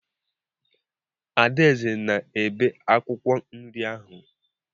Adaeze na-ebe akwụkwọ nri ahụ.